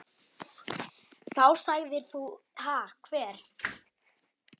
Þá sagðir þú: Ha hver?